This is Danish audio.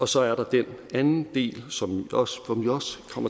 så er der den anden del som vi også kommer